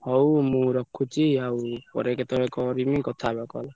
ହଉ ମୁଁ ରଖୁଛି ଆଉ ପରେ କେତବେଳେ କରିମି କଥା ହବା call ।